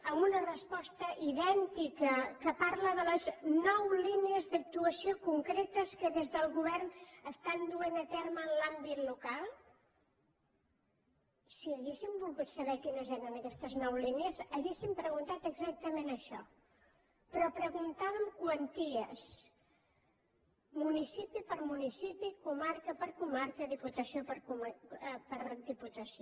amb una resposta idèntica que parla de les nou línies d’actuació concretes que des del govern estan duent a terme en l’àmbit local si haguéssim volgut saber quines eren aquestes nou línies hauríem preguntat exactament això però preguntàvem quanties municipi per municipi comarca per comarca diputació per diputació